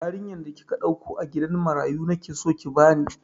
Yarinyar da kika ɗauko a gidan marayu nake so ki bani!